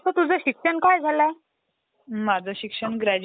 Desktop जे असतात, त्याचं काय काम असतं?